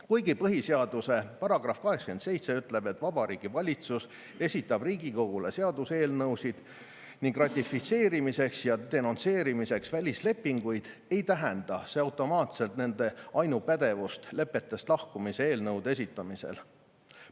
Kuigi põhiseaduse § 87 ütleb, et Vabariigi Valitsus esitab Riigikogule seaduseelnõusid ning ratifitseerimiseks ja denonsseerimiseks välislepinguid, ei tähenda see automaatselt nende ainupädevust lepetest lahkumise eelnõude esitamisel.